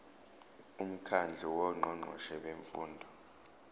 umkhandlu wongqongqoshe bemfundo